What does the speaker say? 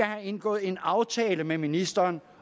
har indgået en aftale med ministeren